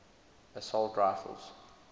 assault rifles